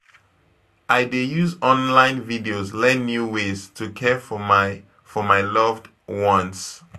I dey use online videos learn new ways to care for my for my loved ones.